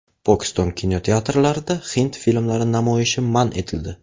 Pokiston kinoteatrlarida hind filmlari namoyishi man etildi.